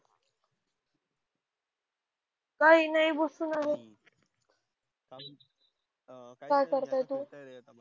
काही नाही बसून आहे. क्या करतोय तू?